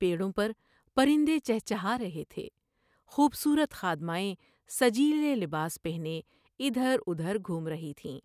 پیڑوں پر پرندے چہچہار ہے تھے ۔خوب صورت خادمائیں سجیلے لباس پہنے ادھر ادھر گھوم رہی تھیں ۔